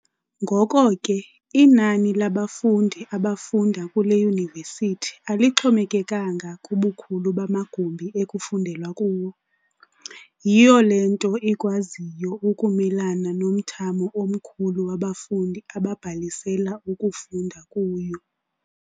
Ngoko ke inani labafundi abafunda kule Yunivesithi alixhomekekanga kubukhulu bamagumbi ekufundelwa kuwo. Yiyo le nto ikwaziyo ukumelana nomthamo omkhulu wabafundi ababhalisela ukufunda kuyo.